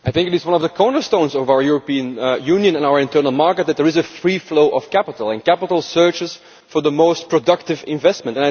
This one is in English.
I think it is one of the cornerstones of our European Union and our internal market that there is a free flow of capital, and capital searches for the most productive investment.